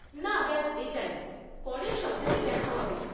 না, ব্যাস এটাই, পরের সপ্তাহে দেখা হবে।